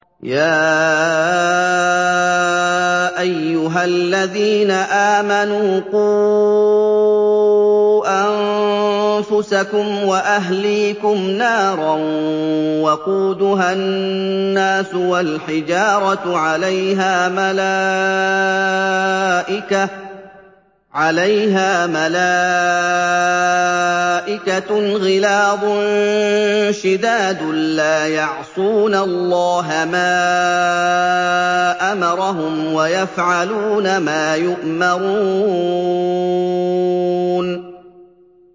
يَا أَيُّهَا الَّذِينَ آمَنُوا قُوا أَنفُسَكُمْ وَأَهْلِيكُمْ نَارًا وَقُودُهَا النَّاسُ وَالْحِجَارَةُ عَلَيْهَا مَلَائِكَةٌ غِلَاظٌ شِدَادٌ لَّا يَعْصُونَ اللَّهَ مَا أَمَرَهُمْ وَيَفْعَلُونَ مَا يُؤْمَرُونَ